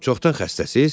Çoxdan xəstəsiz?